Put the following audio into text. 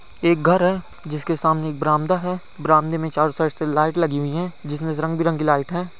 ये एक घर है जिसके सामने एक बरामदा है बरामदे में चारो साइड से लाइट लगी हुई है जिसमे सब रंग बिरंगी लाइट है ।